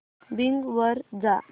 Bing वर जा